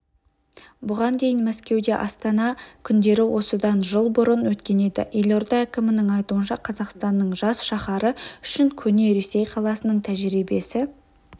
бұған дейін мәскеуде астана күндері осыдан жыл бұрын өткен еді елорда әкімінің айтуынша қазақстанның жас шаһары үшін көне ресей қаласының тәжірибесі